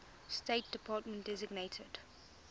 state department designated